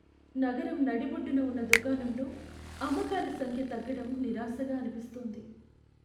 నగరం నడిబొడ్డున ఉన్న దుకాణంలో అమ్మకాల సంఖ్య తగ్గడం నిరాశగా అనిపిస్తోంది.